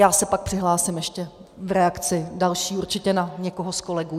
Já se pak přihlásím ještě v reakci další určitě na někoho z kolegů.